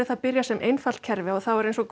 það byrjar sem eitt kerfi og þá er eins og